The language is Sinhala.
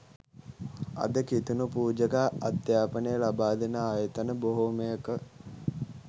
අද කිතුනු පූජක අධ්‍යාපනය ලබාදෙන ආයතන බොහොමයක